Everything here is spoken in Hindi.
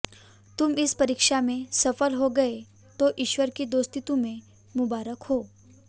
तुम इस परीक्षा में सफल हो गये तो ईश्वर की दोस्ती तुम्हें मुबारक हो